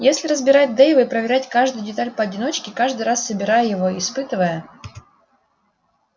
если разбирать дейва и проверять каждую деталь поодиночке каждый раз собирая его и испытывая